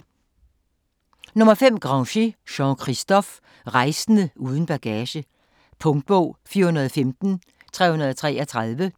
Grangé, Jean-Christophe: Rejsende uden bagage Punktbog 415333